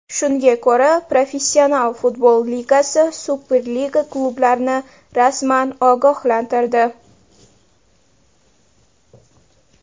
Shunga ko‘ra Professional futbol ligasi Superliga klublarini rasman ogohlantirdi.